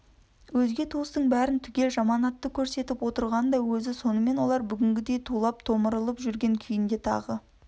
өзге туыстың бәрің түгел жаманатты қөрсетіп отырған да өзі сонымен олар бүгінгідей тулап-томырылып жүрген күйінде тағы